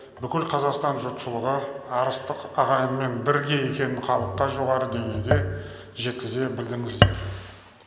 бүкіл қазақстан жұртшылығы арыстық ағайынмен бірге екенін халыққа жоғары деңгейде жеткізе білдіңіздер